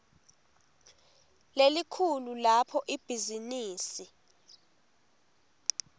lelikhulu lapho ibhizinisi